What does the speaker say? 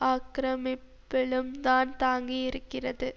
ஆக்கிரமிப்பிலும்தான் தாங்கி இருக்கிறது